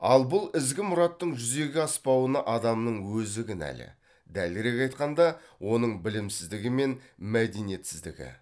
ал бұл ізгі мұраттың жүзеге аспауына адамның өзі кінәлі дәлірек айтқанда оның білімсіздігі мен мәдениетсіздігі